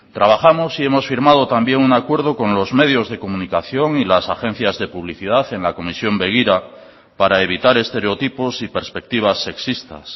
trabajamos y hemos firmado también un acuerdo con los medios de comunicación y las agencias de publicidad en la comisión begira para evitar estereotipos y perspectivas sexistas